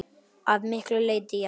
Að miklu leyti já.